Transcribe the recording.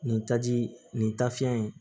Nin taji nin nin tafiɲɛ in